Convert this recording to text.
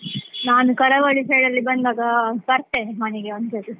ನಾನು ಕರಾವಳಿ side ಬಂದಾಗ ಬರ್ತೇನೆ ಮನೆಗೆ ಒಂದ್ಸರ್ತಿ.